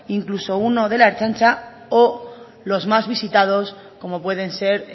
incluso uno de la ertzaintza o los más visitados como pueden ser